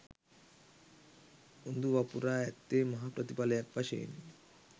උඳු වපුරා ඇත්තේ මහා ප්‍රතිඵලයක් වශයෙනි.